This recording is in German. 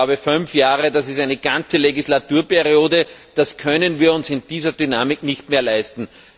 Ich glaube, fünf Jahre das ist eine ganze Legislaturperiode können wir uns in dieser Dynamik nicht mehr leisten.